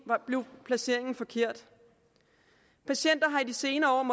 blev placeringen forkert patienter har i de senere år